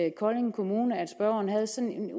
i kolding kommune at spørgeren havde sådan